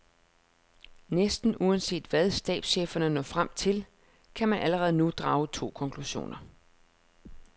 Næsten uanset hvad stabscheferne når frem til, kan man allerede nu drage to konklusioner.